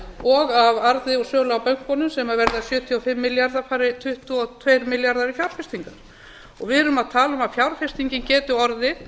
og af arði af sölu á bönkunum sem verða sjötíu og fimm milljarðar fari tuttugu og tveir milljarðar í fjárfestingar við erum að tala um að fjárfestingin geti orðið